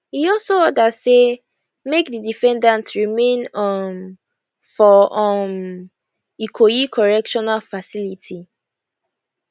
e also order say make di defendant remain um for um ikoyi correctional facility